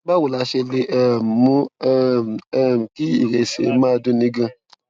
báwo la ṣe lè um mú um um kí ìrẹsè máa dunni ganan